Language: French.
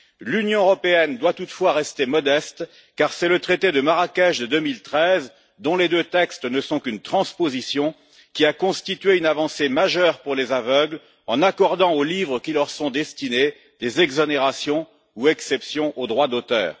L'Union européenne doit toutefois rester modeste, car c'est le traité de Marrakech de 2013, dont les deux textes ne sont qu'une transposition, qui a constitué une avancée majeure pour les aveugles, en accordant aux livres qui leur sont destinés des exonérations ou exceptions au droit d'auteur.